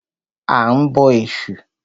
A ń bọ Ẹ̀sù.